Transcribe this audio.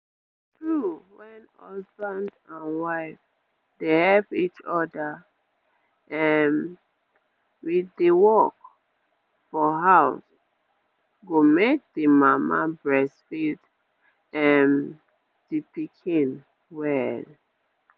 true when husband and wife dey help each other um with the work for house go make the mama breastfeed um d pikin well